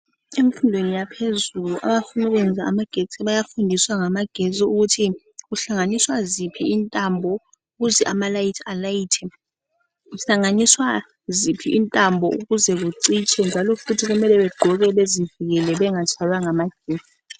Emfundweni yaphezulu abafuna ukuyenza ngamagetsi bayafundiswa ngamagetsi ukuthi kuhlanganiswa ziphi intambo ukuze amalayithi alayithe njalo ukuhlanganiswa ziphi intambo ukuze zicitshe Njalo futhi kumele begqoke be zivikele ukuze bengatshaywa namagetsi.